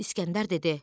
İskəndər dedi: